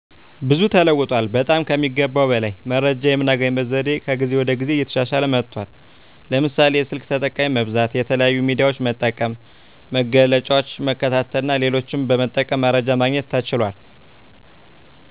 ብዙ ተለውጧል። በጠም ከሚገባው በላይ መረጃየምናገኝበት ዘዴ ከጊዜ ወደ ጊዜ እየተሻሻለ መጥቷል። ለምሳሌ፦ የስልክ ተጠቃሚ መብዛት፣ የተለያዩ ሚዲያዎች መጠቀም፣ መግለጫዎችን መከታተልና ሌሎችንም በመጠቀም መረጃ ማግኘት ተችሏል።